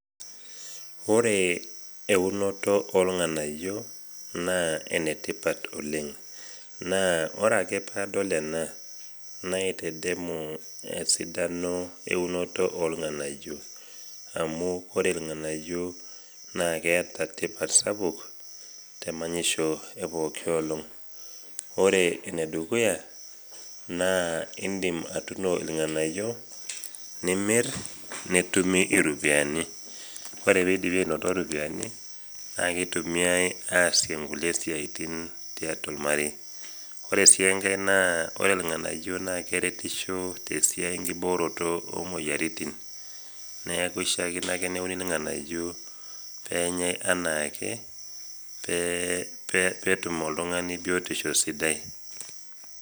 Ore eunoto irganayio naa enetipat oleng ,naa ore ake pee adol ena naitadamu esidano eunoto organayio. amu ore irnganayio naa keeta tipat sapuk temanyisho epooki olong .ore enedukuya naa indim atuuno irganayio nimir netumi iropiyiani ,ore pee eidipi anoto ropiyiani naa keitumiyai aasie nkulie siaitin tiatua ormarei. ore sii enkae naa ore irnganayio naa keretisho tenkiboore esiai oomoyiaritin ,neeku eishaakino ake neuni irnganayio pee enyae enaake pee etum oltungani biotisho sidai.